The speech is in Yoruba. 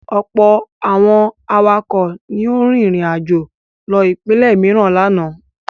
Ọ̀pọ̀ àwọn awakọ̀ ni ó rin ìrìnàjò lọ ìpínlẹ̀ mìíràn lánàá.